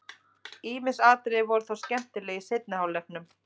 Ýmis atriði voru þó skemmtileg í seinni hálfleiknum.